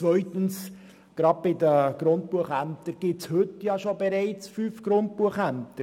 Zweitens gibt es bereits heute fünf Grundbuchämter.